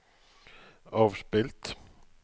avspilt